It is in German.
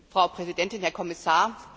Frau Präsidentin, Herr Kommissar!